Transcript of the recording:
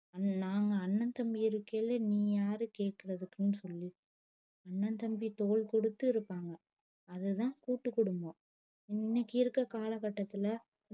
நாங்க அண்ணன் தம்பி இருக்கேளே நீ யாரு கேக்குறதுக்குன்னு சொல்லி அண்ணன் தம்பி தோள் கொடுத்து இருபாங்க அது தான் கூட்டு குடும்பம் இன்னக்கி இருக்குற கால கட்டத்துல